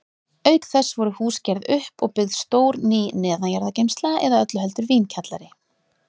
Auk þess voru hús gerð upp og byggð stór ný neðanjarðargeymsla, eða öllu heldur vínkjallari.